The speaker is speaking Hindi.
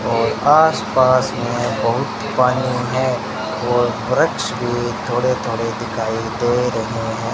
और आसपास में बहुत पानी है और वृक्ष भी थोड़े थोड़े दिखाई दे रहे हैं।